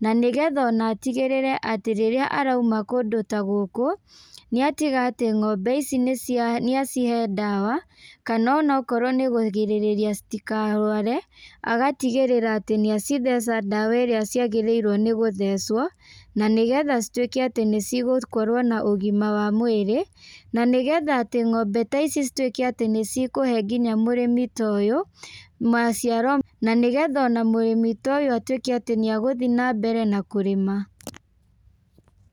na nĩgetha ona atigĩrĩre atĩ rĩrĩa araima kũndũ ta gũkũ, nĩ atiga atĩ ng'ombe ici nĩ cia nĩ acihe ndawa, kana ona akorwo nĩ kũgirĩrĩria citikarware, agatigĩrĩra atĩ nĩ acitheca ndawa ĩrĩa ciagĩrĩirwo nĩ gũthecwo, na nĩ getha cituĩke atĩ nĩ cigũkorwo na ũgima wa mwĩrĩ, na nĩ getha atĩ ng'ombe taici cituĩke atĩ nĩ cikũhe nginya mũrĩmi toyũ maciaro, na nĩ getha ona mũrĩmi ta ũyũ atuĩke atĩ nĩ egũthiĩ na mbere na kũrĩma.